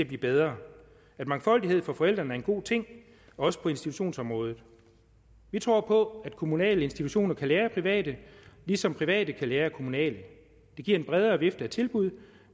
blive bedre at mangfoldighed for forældrene er en god ting også på institutionsområdet vi tror på at kommunale institutioner kan lære af private ligesom private kan lære af kommunale det giver en bredere vifte af tilbud